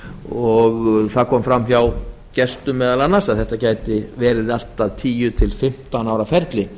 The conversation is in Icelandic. og það kom meðal annars fram hjá gestum að þetta gæti verið allt að tíu til fimmtán ára ferli